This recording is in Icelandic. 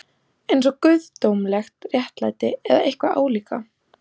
Einsog guðdómlegt réttlæti, eða eitthvað álíka.